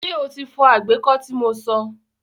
Ṣé o ti fọ àgbẹ́kọ́ tí mo so?